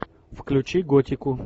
включи готику